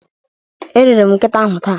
Erere m nkịta ahụ taa.